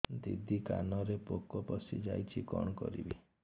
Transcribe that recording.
ଦିଦି କାନରେ ପୋକ ପଶିଯାଇଛି କଣ କରିଵି